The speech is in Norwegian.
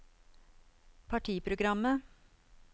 partiprogrammet